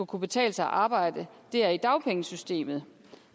kunne betale sig at arbejde er i dagpengesystemet